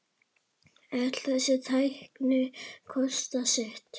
Öll þessi tækni kostar sitt.